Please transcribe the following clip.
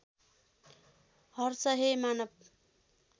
हर्ष हे मानव